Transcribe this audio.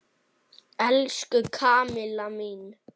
Elsku Kamilla mín.